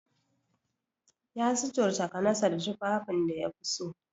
Ya suturta kanasa da tufafin da yafi so.